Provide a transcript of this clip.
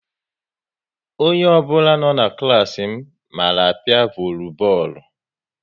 Onye ọ bụla na n'klas m mara apia volubọọlu